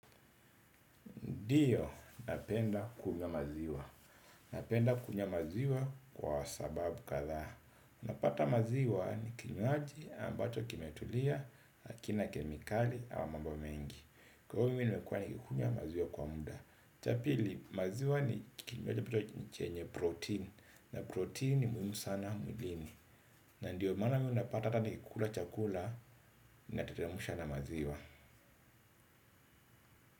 Ndio, napenda kunywa maziwa. Napenda kunywa maziwa kwa sababu kadhaa. Unapata maziwa ni kinywaji ambacho kimetulia, hakina kemikali, au mambo mengi. Kwa hivyo mimi nimekuwa ni kikunywa maziwa kwa muda. Cha pili, maziwa ni kinywaji ambacho ni chenye protein. Na protein ni muhimu sana mwilini. Na ndiyo, maana mi unapata hata nikikula chakula, nateremsha na maziwa.